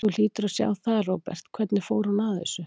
Þú hlýtur að sjá það, Róbert, hvernig hún fór að þessu.